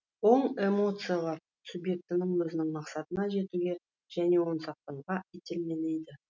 оң эмоциялар субъектіні өзінің мақсатына жетуге және оны сақтауға итермелейді